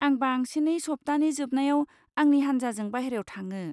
आं बांसिनै सप्ताहनि जोबनायाव आंनि हानजाजों बाहेरायाव थाङो।